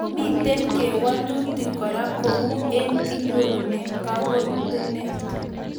Mitei kewelutik kora koa ane kianyoru kogootenet